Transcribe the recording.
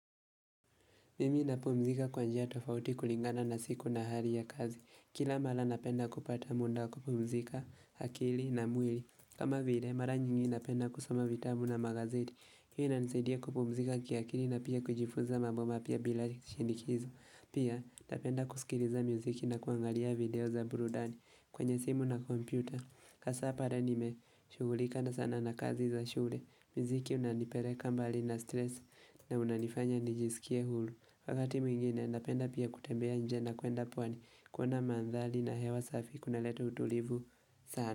Mimi napumzika kwa njia tofauti kulingana na siku na hali ya kazi. Kila mara napenda kupata muda kupumzika akili na mwili. Kama vile, mara nyingi napenda kusoma vitabu na magazeti. Hii inanisaidia kupumzika kiakili na pia kujifunza mambo mapya bila shinikizo Pia, napenda kusikiliza miziki na kuangalia video za burudani kwenye simu na kompyuta. Hasa pale nimeshugulika sana na kazi za shule. Mziki unanipeleka mbali na stresi na unanifanya nijisikie huru. Wakati mwingine endapenda pia kutembea njena kuenda pwani kuona mandhari na hewa safi kunaleta utulivu sana.